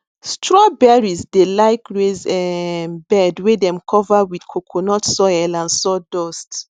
strawberries dey like raise um bed wey dem cover with coconut soil and sawdust